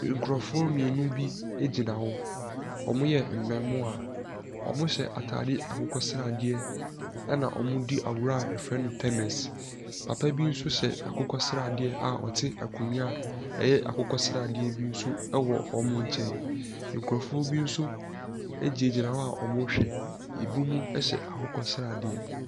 Nkurɔfoɔ mmienu bi gyina hɔ. Wɔyɛ mmaamua. Wɔyɛ atade akokɔ sradeɛ, ɛnna wɔredi agorɔ a wɔfrɛ no tennis. Papa bi nso hyɛ akokɔ sradeɛ a ɔte akonnwa a ɛyɛ akokɔ sradeɛ bi nso wɔ wɔn nkyɛn. Nkurɔfoɔ bi no gyinagyina hɔ a wɔrehwɛ. Ebinom hyɛ akokɔ sradeɛ.